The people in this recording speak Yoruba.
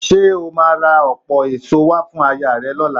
Ṣé o máa ra ọ̀pọ̀ èso wá fún ayaà rẹ lọ́la?